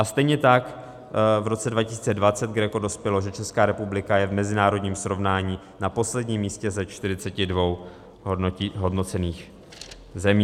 A stejně tak v roce 2020 GRECO dospělo , že Česká republika je v mezinárodním srovnání na posledním místě ze 42 hodnocených zemí.